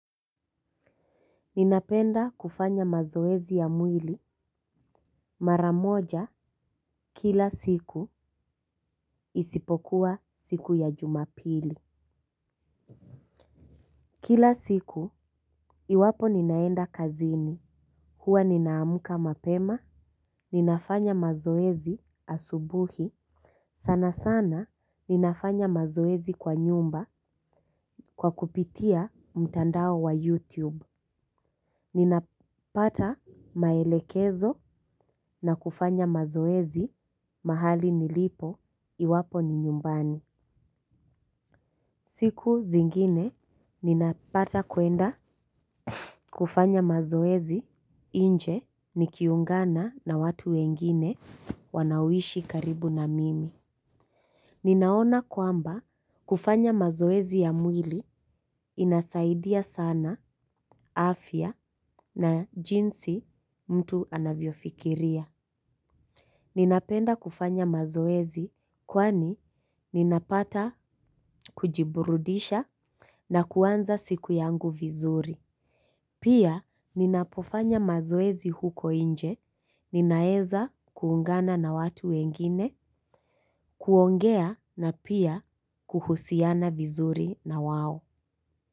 Ninapenda kufanya mazoezi ya mwili mara moja kila siku isipokuwa siku ya Jumapili. Kila siku, iwapo ninaenda kazini. Huwa nina amka mapema, ninafanya mazoezi asubuhi, sana sana ninafanya mazoezi kwa nyumba kwa kupitia mtandao wa YouTube. Ninapata maelekezo na kufanya mazoezi mahali nilipo, iwapo ni nyumbani. Siku zingine ninapata kuenda kufanya mazoezi nje nikiungana na watu wengine wanaoishi karibu na mimi. Ninaona kwamba kufanya mazoezi ya mwili inasaidia sana afya na jinsi mtu anavyofikiria. Ninapenda kufanya mazoezi kwani ninapata kujiburudisha na kuanza siku yangu vizuri. Pia ninapofanya mazoezi huko nje, ninaeza kuungana na watu wengine, kuongea na pia kuhusiana vizuri na wao.